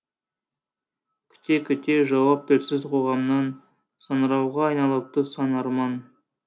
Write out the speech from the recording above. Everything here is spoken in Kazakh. қүте күте жауап тілсіз қоғамнан саңырауға айналыпты сан арман